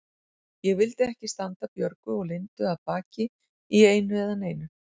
Ég vildi ekki standa Björgu og Lindu að baki í einu eða neinu.